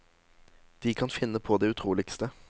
De kan finne på det utroligste.